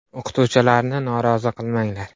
O‘qituvchilarni norozi qilmanglar.